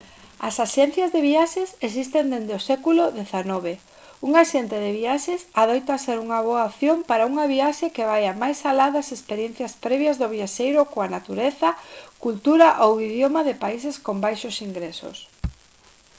as axencias de viaxes existen desde o século xix un axente de viaxes adoita ser unha boa opción para unha viaxe que vaia máis alá das experiencias previas do viaxeiro coa natureza cultura ou idioma de países con baixos ingresos